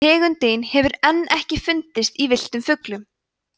tegundin hefur enn ekki fundist á villtum fuglum